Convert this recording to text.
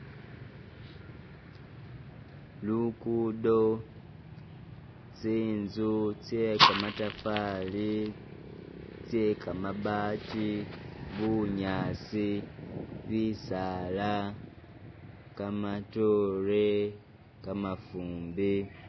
Lukudo, tsinzu tse kamatafali tse kamabati bunyaasi bisaala kamatoore kamafumbe.